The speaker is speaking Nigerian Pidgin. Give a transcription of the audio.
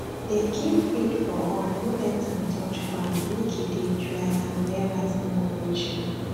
dey keep feed for up no let am touch groundmake e dey dry and where rat no go reach am